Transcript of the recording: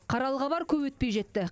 қаралы хабар көп өтпей жетті